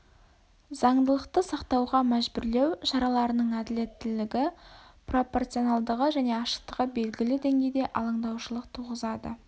заңдылықты сақтауға мәжбүрлеу шараларының әділетттілігі пропорционалдығы және ашықтығы белгілі деңгейде алаңдаушылық туғызады